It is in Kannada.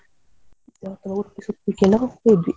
ಮತ್ತೆ Udupi ಸುತ್ಲಿಕ್ಕೆ ಎಲ್ಲ ಹೋಗ್ತಾ ಇದ್ವಿ.